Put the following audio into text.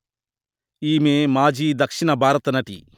ఈమె మాజీ దక్షిణ భారత నటి